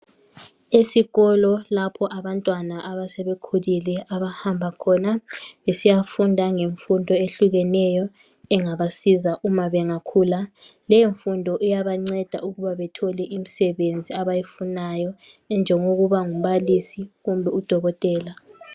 Esikolo lapho abantwana asebekhulile abahamba khona besiyafunda ngemfundo eyehlukeneyo engabasiza uma bengakhula. Leyo mfundo iyabanceda ukuba bethole imisebenzi abayifunayo enjengokuba ngumbalisi kumbe udokotela.